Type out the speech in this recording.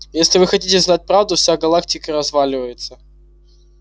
и если вы хотите знать правду вся галактика разваливается